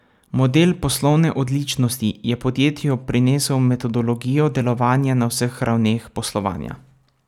Model poslovne odličnosti je podjetju prinesel metodologijo delovanja na vseh ravneh poslovanja.